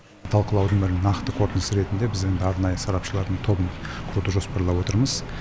талқылаудың бір нақты қорытындысы ретінде біз енді арнайы сарапшылардың тобын құруды жоспарлап отырмыз